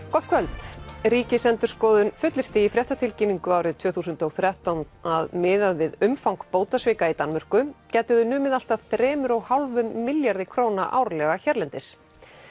gott kvöld Ríkisendurskoðun fullyrti í fréttatilkynningu árið tvö þúsund og þrettán að miðað við umfang bótasvika í Danmörku gætu þau numið allt að þremur og hálfum milljarði króna árlega hérlendis